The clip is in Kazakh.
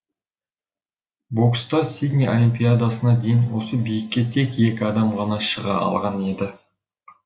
бокста сидней олимпиадасына дейін осы биікке тек екі адам ғана шыға алған еді